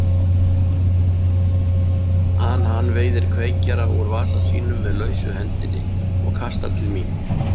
an hann veiðir kveikjara úr vasa sínum með lausu hendinni og kastar til mín.